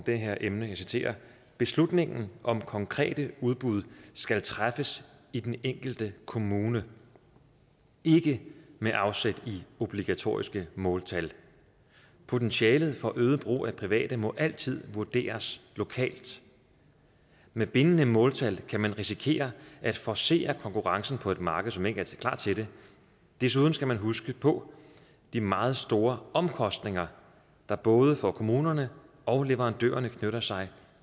det her emne og jeg citerer beslutningen om konkrete udbud skal træffes i den enkelte kommune ikke med afsæt i obligatoriske måltal potentialet for øget brug af private må altid vurderes lokalt med bindende måltal kan man risikere at forcere konkurrencen på et marked som ikke er klar til det desuden skal man huske på de meget store omkostninger der både for kommunerne og leverandørerne knytter sig